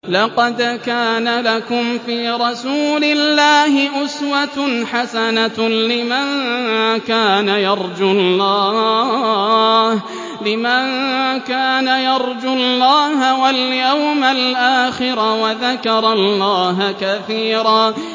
لَّقَدْ كَانَ لَكُمْ فِي رَسُولِ اللَّهِ أُسْوَةٌ حَسَنَةٌ لِّمَن كَانَ يَرْجُو اللَّهَ وَالْيَوْمَ الْآخِرَ وَذَكَرَ اللَّهَ كَثِيرًا